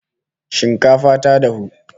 Shinkafa ta dafu!